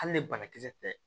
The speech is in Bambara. Hali ni banakisɛ tɛ